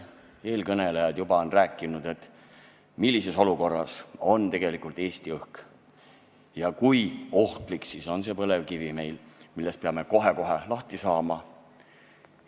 Eelkõnelejad on juba maininud siin fakte, millises olukorras on tegelikult Eesti õhk ja kui ohtlik on see põlevkivi meil, millest peame kohe-kohe lahti saama.